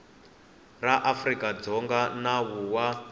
ra afrika dzonga nawu wa